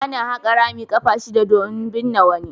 Ana haƙa rami ƙafa shidda don binne wani.